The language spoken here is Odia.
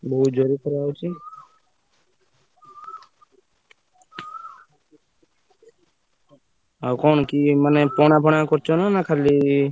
ବହୁତ ଜୋରେ ଖରା ହଉଛି। ଆଉ କଣ କି ମାନେ ପଣା ଫଣା କରୁଛ ନା ଖାଲି।